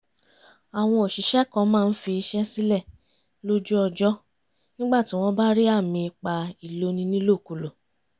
àwọn òṣìṣẹ́ kan máa ń fi iṣẹ́ sílẹ̀ lójú ọjọ́ nígbà tí wọ́n bá rí àmì ipá ìloni nílòkulò